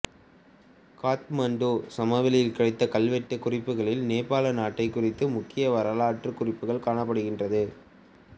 காத்மாண்டு சமவெளியில் கிடைத்த கல்வெட்டுக் குறிப்புகளில் நேபாள நாட்டைக் குறித்த முக்கிய வரலாற்று குறிப்புகள் காணப்படுகிறது